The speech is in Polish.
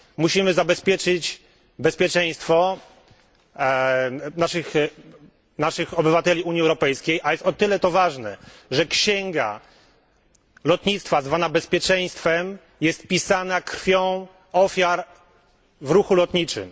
Musimy zabezpieczyć bezpieczeństwo naszych obywateli Unii Europejskiej, a jest to o tyle ważne, że księga lotnictwa zwana bezpieczeństwem jest pisana krwią ofiar w ruchu lotniczym.